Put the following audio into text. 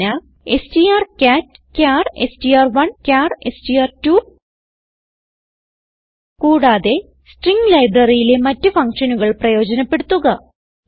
സൂചന160 strcatചാർ എസ്ടിആർ1 ചാർ എസ്ടിആർ2 കൂടാതെ സ്ട്രിംഗ് libraryയിലെ മറ്റ് ഫങ്ഷനുകൾ പ്രയോജനപ്പെടുത്തുക